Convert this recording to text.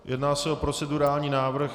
Jedná se o procedurální návrh.